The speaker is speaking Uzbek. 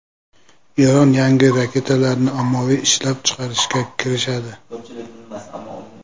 Eron yangi raketalarni ommaviy ishlab chiqarishga kirishadi.